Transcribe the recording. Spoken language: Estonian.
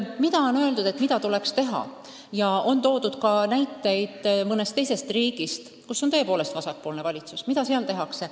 Te palusite ka tuua näiteid mõnest riigist, kus on vasakpoolne valitsus, et mida seal tehakse.